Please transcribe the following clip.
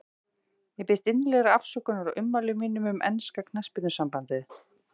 Ég biðst innilegrar afsökunar á ummælum mínum um enska knattspyrnusambandið.